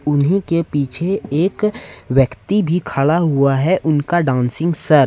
उन्हीं के पीछे एक व्यक्ति भी खड़ा हुआ है उनका डांसिंग सर --